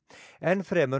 enn fremur